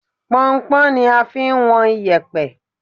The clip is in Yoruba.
Pọnnpọ́n ni a fi ń wọn iyẹ̀pẹ̀